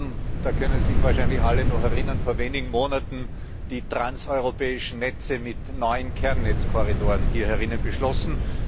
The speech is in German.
Wir haben da können sich wahrscheinlich alle noch erinnern vor wenigen Monaten die Transeuropäischen Netze mit neun Kernnetzkorridoren hier beschlossen.